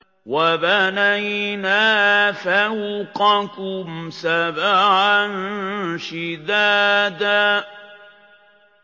وَبَنَيْنَا فَوْقَكُمْ سَبْعًا شِدَادًا